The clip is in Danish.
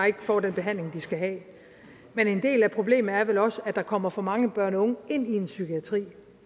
ikke får den behandling de skal have men en del af problemet er vel også at der kommer for mange børn og unge ind i psykiatrien